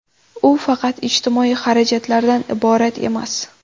U faqat ijtimoiy xarajatlardan iborat emas.